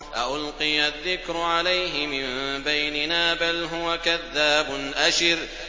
أَأُلْقِيَ الذِّكْرُ عَلَيْهِ مِن بَيْنِنَا بَلْ هُوَ كَذَّابٌ أَشِرٌ